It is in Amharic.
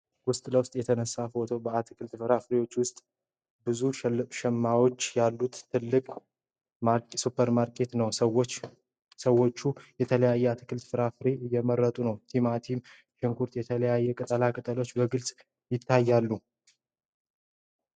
ውስጥ ለውስጥ የተነሳው ፎቶ በአትክልትና ፍራፍሬ ክፍል ውስጥ ብዙ ሸማቾች ያሉት ትልቅ ሱፐርማርኬት ነው። ሰዎች የተለያዩ አትክልቶችንና ፍራፍሬዎችን እየመረጡ ነው። ቲማቲም፣ ሽንኩርትና የተለያዩ ቅጠላ ቅጠሎች በግልጽ ይታያሉ።